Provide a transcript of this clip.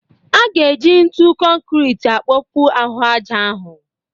A ga-eji ntụ konkrit kpokpuo ahụ ájá ahu